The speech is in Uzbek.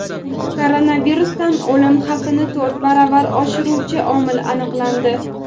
Koronavirusdan o‘lim xavfini to‘rt baravar oshiruvchi omil aniqlandi.